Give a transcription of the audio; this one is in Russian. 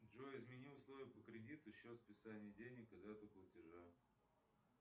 джой измени условия по кредиту счет списания денег и дату платежа